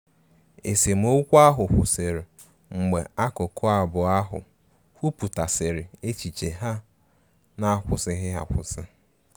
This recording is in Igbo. Esemokwu ahụ kwụsiri mgbe akụkụ abụọ ahụ kwuputasiri echiche ha n'akwusighi akwụsi.